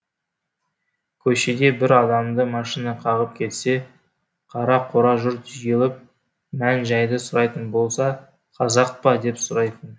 көшеде бір адамды машина қағып кетсе қара құра жұрт жиылып мән жайды сұрайтын болса қазақ па деп сұрайтын